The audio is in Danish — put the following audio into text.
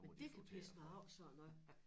Men det kan pisse mig af sådan noget